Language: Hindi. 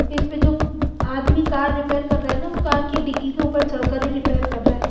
इसमें जो आदमी कार रिपेयर कर रहा है ना वो कार की डिकी के ऊपर चढ़ कर ही रिपेयर कर रहा है।